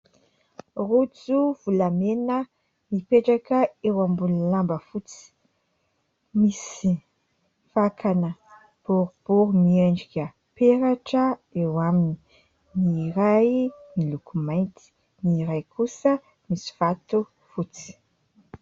Rojo volamena mipetraka eo ambony lamba fotsy, misy vakana boribory miendrika peratra eo aminy : ny iray miloko mainty, ny iray kosa misy vatofotsy.